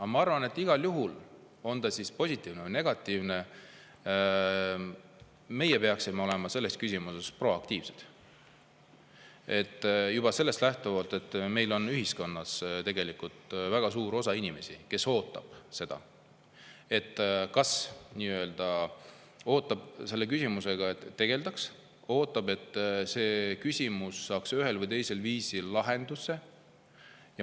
Aga ma arvan, et igal juhul, on ta siis positiivne või negatiivne, meie peaksime olema selles küsimuses proaktiivsed juba sellest lähtuvalt, et meil on ühiskonnas tegelikult väga suur osa inimesi, kes ootavad seda, et selle küsimusega tegeldaks, et see küsimus saaks ühel või teisel viisil lahenduse.